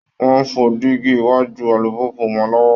Wọn ń fọ diíígí iwájú alùpùpù wọn lọ́wọ́